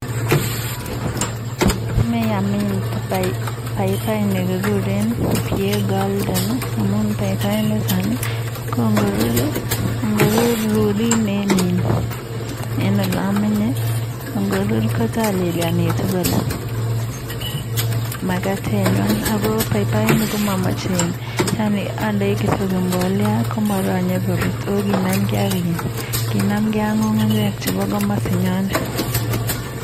Amae amin paipai nekiguren pie golden amun paipainiton ko ngorur en ole amenye ngorur kotalelienitu kole makatenywai. Ako paipainik komamachei andei kityo mbolea komaranyei korut ako kinamgei ak ng'ung'unyek chebo komosi nyonet.